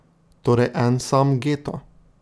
Torej En sam geto.